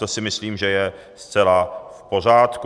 To si myslím, že je zcela v pořádku.